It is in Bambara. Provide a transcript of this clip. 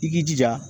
I k'i jija